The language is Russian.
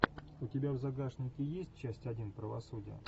у тебя в загашнике есть часть один правосудие